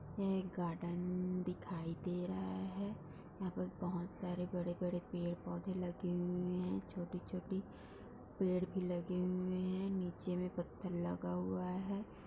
यह एक गार्डन दिखाई दे रहा है यहाँ पर बहुत सारे बड़े-बड़े पेड़ पौधे लगे हुए हैं छोटे-छोटे पेड़ भी लगे हुए हैं नीचे में पत्थर लगा हुआ है।